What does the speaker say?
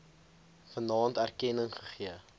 vanaand erkenning gegee